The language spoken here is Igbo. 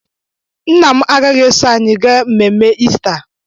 Nna m agaghị eso anyị gaa mmemme Ista